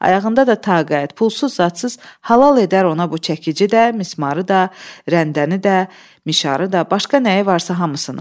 Ayağında da taqət, pulsuz-zadsız halal edər ona bu çəkici də, mismarı da, rəndəni də, mişarı da, başqa nəyi varsa hamısını.